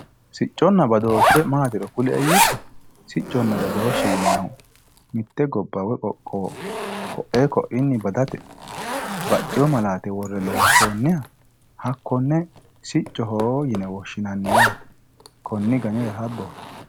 Sicconna badooshe maatiro kulie yitto ,sicconna badooshe yinnannihu mite gobba woyi qoqqowo koe koiwinni baddate baxxino malaate worre loonsonniha hakkone siccoho yinne woshshinanni yaate konni ganira habboti.